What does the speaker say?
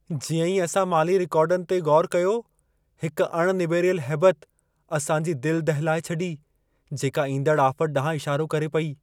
जीअं ई असां माली रिकार्डनि ते ग़ौरु कयो, हिकु अणनिबेरियल हैबत असां जी दिल दहिलाए छॾी, जेका ईंदड़ आफ़त ॾांहुं इशारो करे पई।